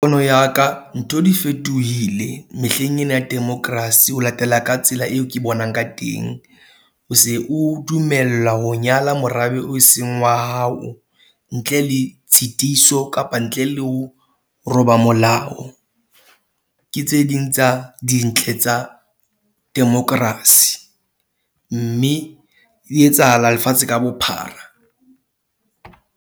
Pono ya ka ntho di fetohile mehleng ena ya democracy ho latela ka tsela eo ke bonang ka teng. O se o dumella ho nyala morabe o seng wa hao ntle le tshitiso kapa ntle le ho roba molao ke tse ding tsa dintle tsa democracy mme e etsahala lefatshe ka bophara.